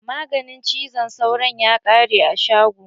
Maganin zazzaɓin cizon sauron ya ƙare a shago.